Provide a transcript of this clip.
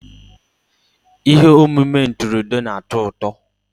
Ihe omume ntụrụndụ na-atọ ụtọ.